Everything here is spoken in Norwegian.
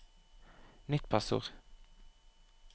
nytt passord